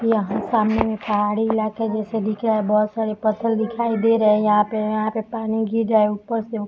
यहाँ सामने एक पहाड़ी इलाका जैसे दिख रहा है बहोत सारे पत्थर दिखाई दे रहे हैं यहाँ पे यहाँ पे पानी गिर रहा है उप्पर से।